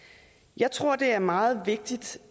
jeg tror det er meget vigtigt